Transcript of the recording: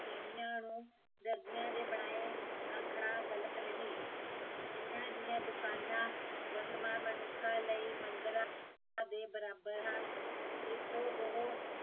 ਤੀਵੀਆਂ ਨੂੰ ਦਰਜੀਆਂ ਦੇ ਬਣਾਏ ਆਖਣਾ ਗਲਕ ਨਹੀਂ ਇਹਨਾਂ ਦੀਆ ਦੁਕਾਨਾਂ ਵਰਤਮਾਨ ਮਨੁੱਖਾ ਲਈ ਮੰਦਿਰਾ ਦੇ ਬਰਾਬਰ ਹਨ ਜਿੱਥੋਂ ਉਹ